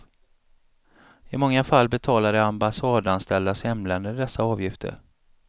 I många fall betalar de ambassadanställdas hemländer dessa avgifter.